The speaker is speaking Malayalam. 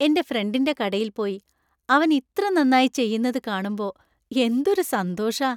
എന്‍റെ ഫ്രണ്ടിന്‍റെ കടയിൽ പോയി അവൻ ഇത്ര നന്നായി ചെയുന്നത് കാണുമ്പോ എന്തൊരു സന്തോഷാ .